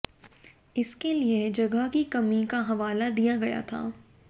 इसके लिए जगह की कमी का हवाला दिया गया था